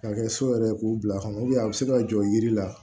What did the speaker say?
Ka kɛ so yɛrɛ k'u bila kɔnɔ a bɛ se ka jɔ yiri la